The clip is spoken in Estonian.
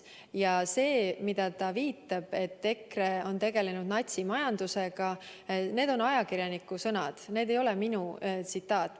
Ja see, millele ta viitab, et EKRE on tegelenud natsimajandusega – need on ajakirjaniku sõnad, see ei ole minu tsitaat.